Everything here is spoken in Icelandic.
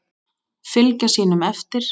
Fylgja sínum eftir.